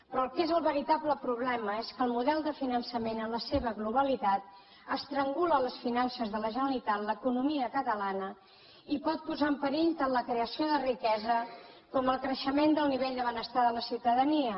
però el que és el veritable problema és que el model de finançament en la seva globalitat estrangula les finances de la generalitat l’economia catalana i pot posar en perill tant la creació de riquesa com el creixement del nivell de benestar de la ciutadania